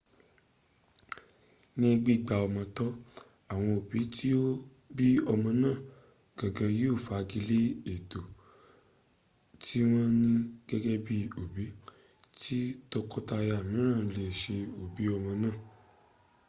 ní gbígba ọmọ tọ́ awọn òbí tí ó bí ọmọ náà gangan yóò fagi lé ẹ̀tọ́ tí wọ́n ní gẹ́gẹ́ bí òbí kí tọkọ-taya mìíràn le è ṣe òbí ọmọ náà